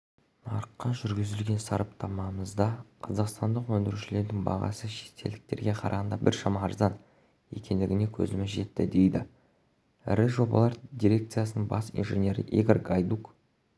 нарыққа жүргізген сараптамамызда қазақстандық өндірушілердің бағасы шетелдіктерге қарағанда біршама арзан екендігіне көзіміз жетті дейді ірі жобалар дирекциясының бас инженері игорь гайдук